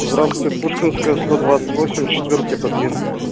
здравствуйте пушкинская сто двадцать восемь четвёртый подъезд